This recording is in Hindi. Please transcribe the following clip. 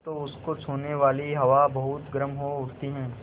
तो उसको छूने वाली हवा बहुत गर्म हो उठती है